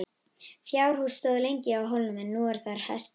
Fjárhús stóð lengi á hólnum en nú er þar hesthús.